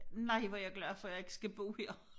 Nej hvor jeg glad for jeg ikke skal bo her